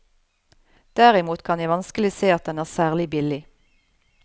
Derimot kan jeg vanskelig se at den er særlig billig.